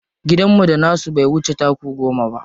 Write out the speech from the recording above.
Gidanmu da nasu bai wuce taku goma ba.